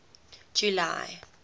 july